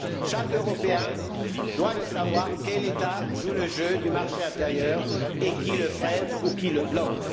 Chaque Européen doit savoir quel État joue le jeu du marché intérieur, et qui le freine ou qui le bloque.